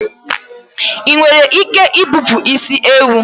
Ị nwere ike ibipụ isi ewu?